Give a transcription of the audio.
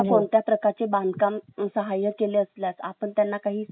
आपण त्यांना काही सामान्य बांधकामे करू शकता